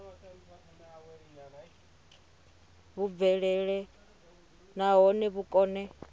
vhu bvelele nahone vhu kone